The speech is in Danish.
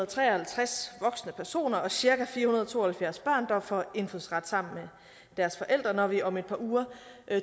tre og halvtreds voksne personer og cirka fire hundrede og to og halvfjerds børn der får indfødsret sammen med deres forældre når vi om et par uger